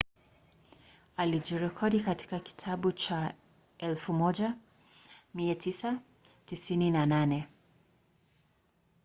alijirekodi katika kitabu cha 1998